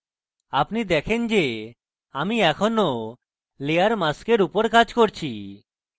আপনি দেখেন যে আমি এখনো layer mask উপর কাজ করছি